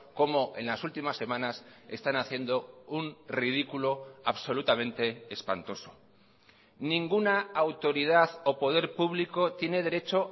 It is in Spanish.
como en las últimas semanas están haciendo un ridículo absolutamente espantoso ninguna autoridad o poder público tiene derecho